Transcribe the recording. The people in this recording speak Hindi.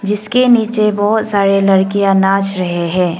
जिस के नीचे बहुत सारे लड़कियां नाच रहे हैं।